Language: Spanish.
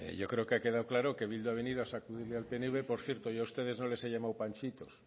yo creo que ha quedado claro que bildu ha venido a sacudir al pnv por cierto yo a ustedes no les he llamado panchitos